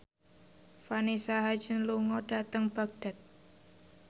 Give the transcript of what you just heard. Vanessa Hudgens lunga dhateng Baghdad